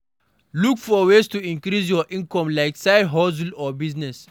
Look for ways to increase your income like side hustle or business